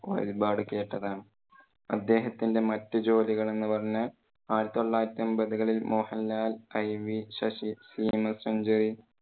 ഒരുപാടു കേട്ടതാണ്. അദ്ദേഹത്തിന്റെ മറ്റു ജോലികൾ എന്ന് പറഞ്ഞാൽ ആയിരത്തി തൊള്ളായിരത്തി എൺപതുകളിൽ മോഹൻലാൽ, IV ശശി,